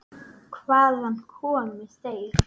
Hvaðan komu þeir?